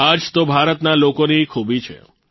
આ જ તો ભારતના લોકોની ખૂબી છે